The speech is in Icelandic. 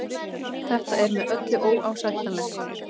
Þetta er með öllu óásættanlegt